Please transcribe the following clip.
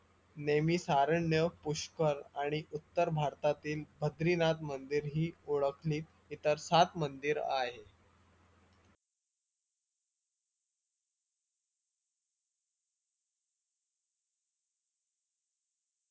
नेमिषारण्य, पुष्कर आणि उत्तर भारतातील बद्रीनाथ मंदिर ही ओळखली इतर सात मंदिर आहे